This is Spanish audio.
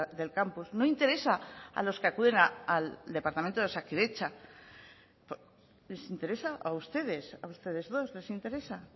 del campus no interesa a los que acuden al departamento de osakidetza les interesa a ustedes a ustedes dos les interesa